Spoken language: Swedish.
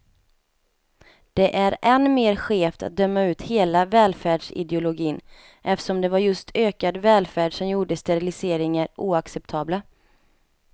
Det är än mer skevt att döma ut hela välfärdsideologin, eftersom det var just ökad välfärd som gjorde steriliseringar oacceptabla.